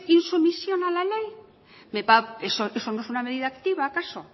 insumisión a la ley eso no es una medida activa acaso